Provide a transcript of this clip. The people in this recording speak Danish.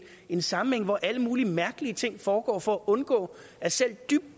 en sammenhæng hvor alle mulige mærkelige ting foregår for at undgå at selv dybt